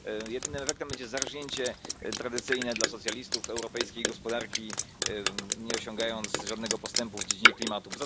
Jedynym efektem będzie zarżnięcie tradycyjne dla socjalistów europejskiej gospodarki, nie osiągając żadnego postępu w dziedzinie klimatu.